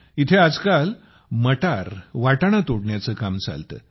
इथे आजकाल मटार वाटाणा तोडण्याचे काम चालते